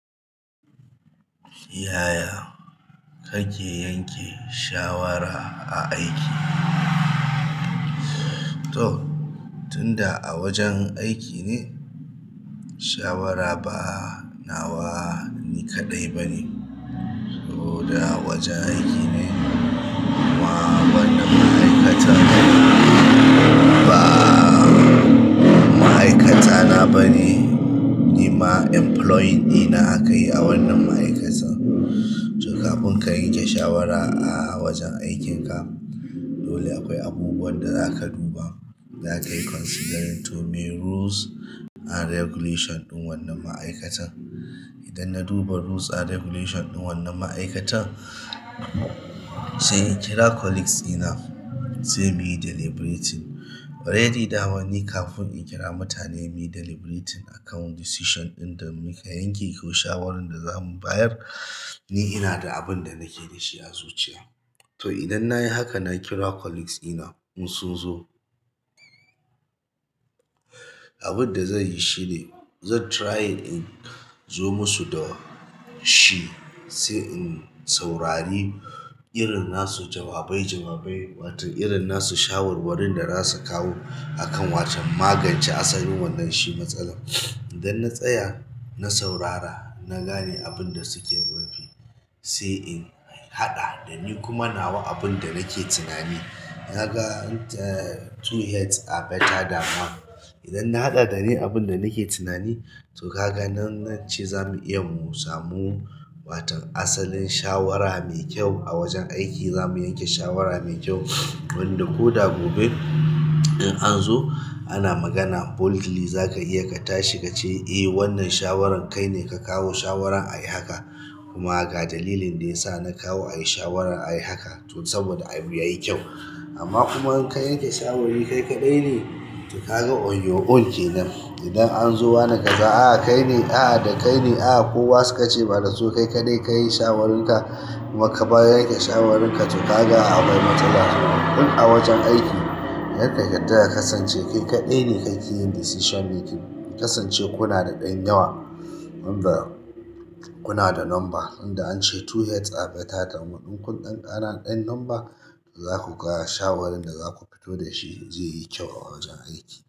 Yaya ake yanke shawara a aiki? Toh tunda a wajen aiki ne shawara ba na wa ni kaɗai bane. To da a wajen aiki ne, ma wannan ma'aikatan ba ma'aikata na ba ne, ni ma employing ɗina akayi a wannan ma'aikatan. To kafin ka yanke shawara a wajen aikinka, dole akwai abubuwan da za ka duba, za ka yi considering too many rules and regulation ɗin wannan ma'aikatan. Idan na duba rules and regulation ɗin wannan ma'aikatan, sai in kira colleagues ɗina, sai mu yi deliberating. Already da man ni kafin in kira mutane mu yi deliberating akan decision ɗin da muka yanke ko shawarar da za mu bayar, ni ina da abin da nake da shi a zuciya. To idan nayi haka na kira colleagues ina duk sun zo, abin da zan yi shine zan try in zo musu da shi, sai in saurari irin nasu jawabai jawabai, wato irin nasu shawarwarin da za su kawo akan wacen magance asalin wannan shi matsalar. Idan na tsaya na saurara, na gane abun da suke rufi, sai in haɗa da ni kuma nawa abun da nake tunani. Na ga two heads are better than one. Idan na haɗa da ni abin da nake tunani, to ka ga nan a ce za mu iya mu samu watan asalin shawara mai kyau a wajen aiki za mu yanke shawara mai kyau. Wanda ko da gobe idan an zo ana magana boldly za ka iya ka tashi ka ce eh wannan shawaran kai ne ka kawo shawarar ayi haka kuma ga dalilin da ya sa na kawo ayi shawaran ayi haka to saboda abu yayi kyau. Amma kuma in ka yanke shawari kai kaɗai ne, to ka ga on your own ke nan. Idan an zo wa na kaza a kai ne, a da kai ne, a kowa su ka ce ba da su kai kaɗai kayi shawararka kuma ka bayar da shawararka to ka ga akwai matsala. In a wajen aiki, kar ka yarda da kasance i ce kai kaɗai ne kayi decision making. Kasance kuna da ɗan yawa, wan da kuna da number, tunda an ce two heads are better than one. In kun ɗan ƙara ɗan number, za ku ga shawarar da za ku fito da shi zai yi kyau a wajen aiki.